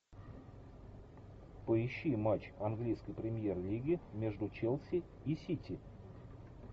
поищи матч английской премьер лиги между челси и сити